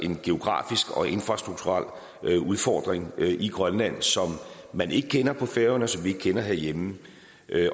en geografisk og infrastrukturel udfordring i grønland som man ikke kender på færøerne eller herhjemme